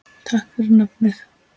Takk fyrir nafnið.